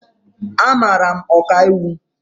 Amara m Ọkaiwu